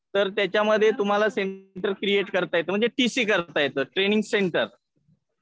तर त्याच्यामध्ये तुम्हाला सेंटर क्रिएट करता येतं. म्हणजे टी सी करता येतं, ट्रेनिंग सेंटर.